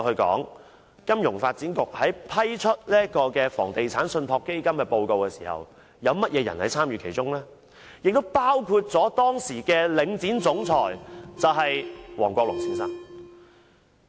金發局在批準就房地產信託基金作出報告時，參與其中的人包括了當時的領展總裁王國龍先生。